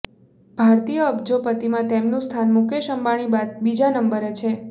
ભારતીય અબજોપતિમાં તેમનું સ્થાન મુકેશ અંબાણી બાદ બીજા નંબરે છે